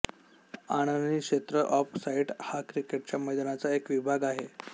आननी क्षेत्र off side हा क्रिकेटच्या मैदानाचा एक विभाग आहे